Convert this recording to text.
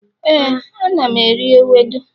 éè, ana m eri ewedu